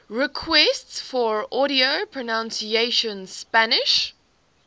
requests for audio pronunciation spanish